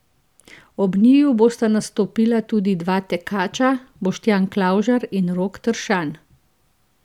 Ob njiju bosta nastopila tudi dva tekača, Boštjan Klavžar in Rok Tršan.